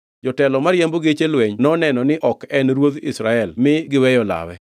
jotelo mariembo geche lweny noneno ni ok en ruodh Israel mi negiweyo lawe.